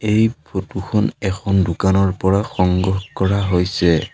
এই ফটো খন এখন দোকানৰ পৰা সংগ্ৰহ কৰা হৈছে।